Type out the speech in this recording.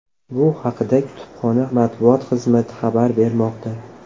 Bu haqda kutubxona matbuot xizmati xabar bermoqda .